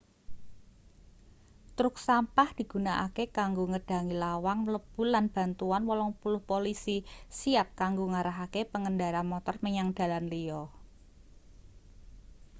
truk sampah digunakake kanggo ngedhangi lawang mlebu lan bantuan 80 polisi siap kanggo ngarahake pengendara motor menyang dalan liya